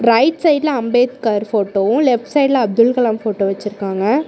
Right சைடுல அம்பேத்கர் ஃபோட்டோவு left சைடுல அப்துல்கலாம் ஃபோட்டோ வெச்சுருக்காங்க.